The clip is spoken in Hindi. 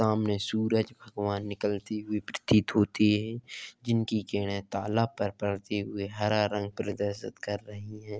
सामने सूरज भगवान निकलती हुई प्रतीत होती है जिनकी किरणें तालाब पर पडते हुए हरा रंग प्रदर्शित कर रहीं हैं ।